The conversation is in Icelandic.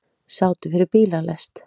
Sátu fyrir bílalest